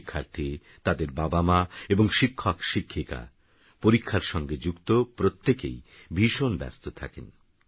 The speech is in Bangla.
শিক্ষার্থীতাদেরবাবামাএবংশিক্ষকশিক্ষিকা পরীক্ষারসঙ্গেযুক্তপ্রত্যেকেইভীষণব্যস্তথাকে